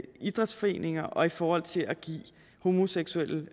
idrætsforeninger og i forhold til at give homoseksuelle